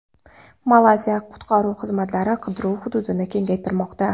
Malayziya qutqaruv xizmatlari qidiruv hududini kengaytirmoqda.